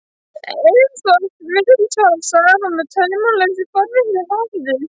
Eins og oft virðist fara saman með taumlausri forvitni, hafði